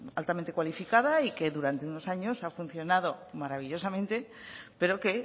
altamente cualificada y que durante unos años ha funcionado maravillosamente pero que